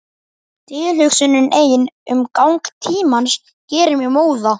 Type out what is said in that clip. Tilhugsunin ein um gang tímans gerir mig móða.